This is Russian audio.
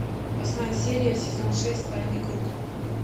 восьмая серия сезон шесть тайный круг